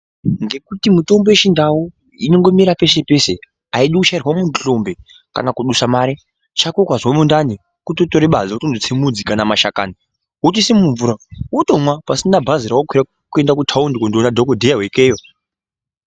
Ngekuti mitombo yechindau inongomera peshe peshe aidi kuchairwa muntu hlombe kana kudusa mare chako ukazwe mundani kutotore badza wondotse mudzi kana mashakani wotoise mumvura wotomwa pasina bhazi rawakwira kuende kutaundi koona dhokodheya wekeyo.